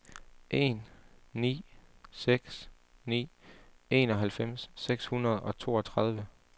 en ni seks ni enoghalvfems seks hundrede og toogtredive